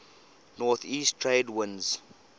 northeast trade winds